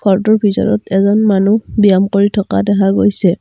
ঘৰটোৰ ভিতৰত এজন মানুহ ব্যায়াম কৰি থকা দেখা গৈছে।